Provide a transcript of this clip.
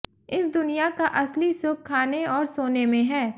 इस दुनिया का असली सुख खाने और सोने में है